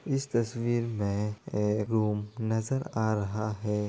इस तस्वीर में एक रूम नजर आ रहा है।